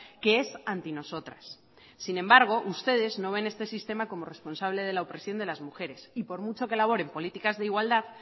que es antinosotras sin embargo ustedes no ven este sistema como responsable de la opresión de las mujeres y por mucho que elaboren políticas de igualdad